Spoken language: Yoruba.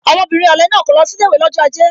Ọmọbìnrin ọ̀le náà kò lọ sí ilé ìwé lọ́jọ́ aje